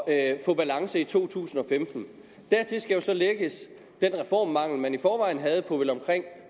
at få balance i to tusind og femten dertil skal så lægges den reformmangel man i forvejen havde på vel omkring